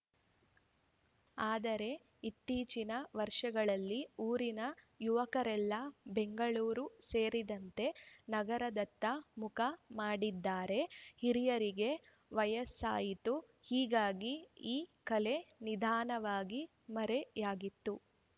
ಆದರೆ ಇತ್ತೀಚಿನ ವರ್ಷಗಳಲ್ಲಿ ಊರಿನ ಯುವಕರೆಲ್ಲ ಬೆಂಗಳೂರು ಸೇರಿದಂತೆ ನಗರದತ್ತ ಮುಖ ಮಾಡಿದ್ದಾರೆ ಹಿರಿಯರಿಗೆ ವಯಸ್ಸಾಯಿತು ಹೀಗಾಗಿ ಈ ಕಲೆ ನಿಧಾನವಾಗಿ ಮರೆಯಾಗಿತ್ತು